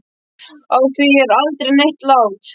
Á því er aldrei neitt lát.